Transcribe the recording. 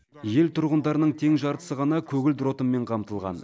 ел тұрғындарының тең жартысы ғана көгілдір отынмен қамтылған